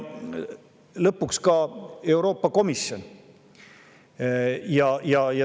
Lõpuks ka Euroopa Komisjonist.